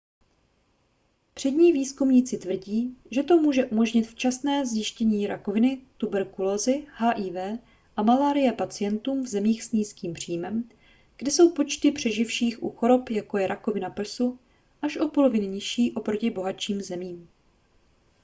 přední výzkumníci tvrdí že to může umožnit včasné zjištění rakoviny tuberkulózy hiv a malárie pacientům v zemích s nízkým příjmem kde jsou počty přeživších u chorob jako je rakovina prsu až o polovinu nižší oproti bohatším zemím